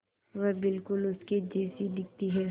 वह बिल्कुल उसके जैसी दिखती है